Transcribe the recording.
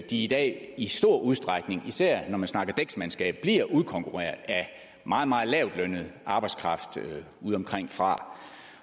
de i dag i stor udstrækning især når man snakker dæksmandskab bliver udkonkurreret af meget meget lavtlønnet arbejdskraft udeomkringfra